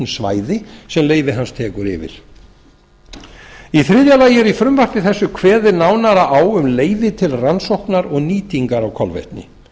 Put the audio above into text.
svæði sem leyfi hans tekur yfir í þriðja lagi er í frumvarpi þessu kveðið nánar á um leyfi til rannsóknar og nýtingar á kolvetni